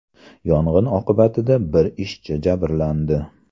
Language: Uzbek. Yong‘in oqibatida bir ishchi jabrlandi.